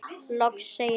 Loks segir hann